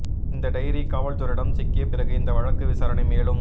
இந்த டைரி காவல்துறையிடம் சிக்கிய பிறகு இந்த வழக்கு விசாரணை மேலும்